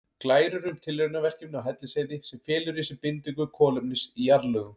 Glærur um tilraunaverkefni á Hellisheiði sem felur í sér bindingu kolefnis í jarðlögum.